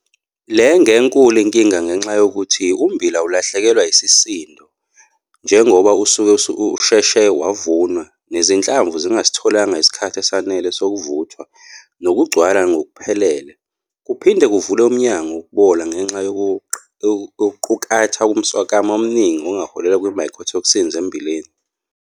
Le ngenkulu inkinga ngenxa yokuthi ummbila ulahlekelwa yisisindo njengoba usuke usheshe wavunwa nezinhlamvu zingasitholanga isikhathi esanele sokuvuthwa nokugcwala ngokuphelele. Kuphinde kuvule umnyango wokubola ngengxa yokuqukatha umswakama omningi ongaholela kwi-mycotoxins emmbileni.